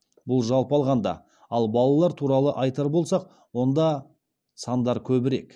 бұл жалпы алғанда ал балалар туралы айтар болсақ онда сандар көбірек